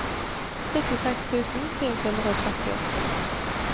syttiseks tusen sju hundre og trettiåtte